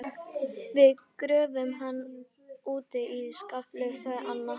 Við gröfum hann úti í skafli sagði Anna.